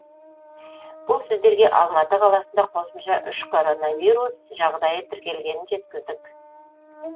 бұл сіздерге алматы қаласында қосымша үш коронавирус жағдайы тіркелгенін жеткіздік